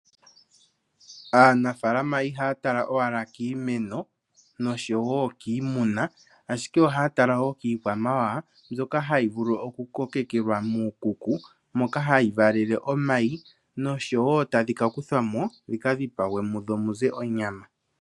Aanafalama ihaya tala owala kiimeno nosho wo kiimuna, ashike ohaya tala wo kii kwamawawa mbyoka hayi vulu oku kokekelwa muu kuko moka hayi valele omayi nosho wo tadhi ka kuthwa mo dhi ka dhipagwe mudho muze onyama.